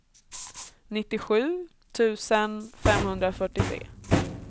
nittiosju tusen femhundrafyrtiotre